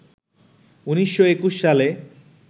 ১৯২১ সালে